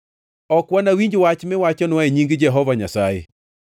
“Ok wanawinj wach miwachonwa e nying Jehova Nyasaye!